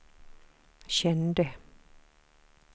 kände